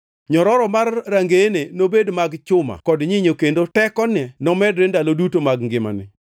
Nyororo mar rangeyeni nobed mag chuma kod nyinyo kendo tekoni nomedre ndalo duto mag ngimani.